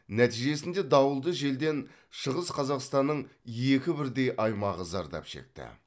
нәтижесінде дауылды желден шығыс қазақстанның екі бірдей аймағы зардап шекті